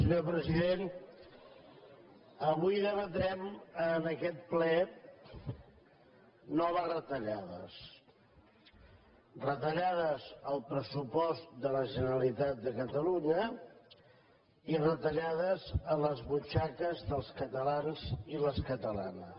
senyor president avui debatrem en aquest ple noves retallades retallades al pressupost de la generalitat de catalunya i retallades a les butxaques dels catalans i les catalanes